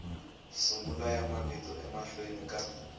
sungula ya mavito emahlweni ka